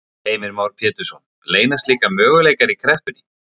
Heimir Már Pétursson: Leynast líka möguleikar í kreppunni?